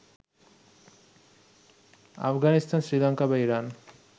আফগানিস্তান, শ্রীলঙ্কা বা ইরান